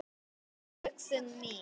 Hennar hugsun mín.